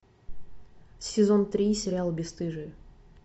сезон три сериал бесстыжие